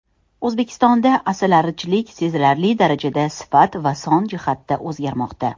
O‘zbekistonda asalarichilik sezilarli daarajada sifat va son jihatda o‘zgarmoqda.